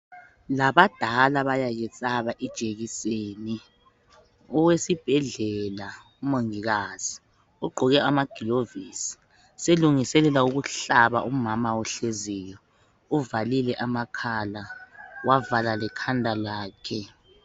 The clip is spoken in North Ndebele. Labadala bayayesaba ijekiseni. Owesibhedlela umongikazi ugqoke amagilovisi selungiselela ukuhlaba umama ohleziyo. Uvalile amakhala wavala lekhanda lakhe